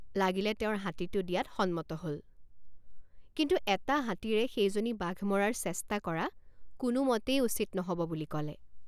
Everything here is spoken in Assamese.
লাগিলে তেওঁৰ হাতীটো দিয়াত সন্মত হল কিন্তু এটা হাতীৰে সেইজনী বাঘ মৰাৰ চেষ্টা কৰা কোনোমতেই উচিত নহব বুলি কলে।